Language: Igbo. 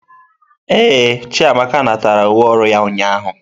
Ee, Chiamaka natara uwe ọrụ ya ụnyahụ.